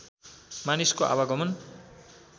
मानिसको आवागमन